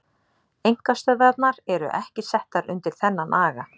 Einkastöðvarnar eru ekki settar undir þennan aga.